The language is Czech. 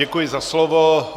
Děkuji za slovo.